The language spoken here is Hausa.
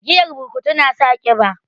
Giyar burkutu na sa kiba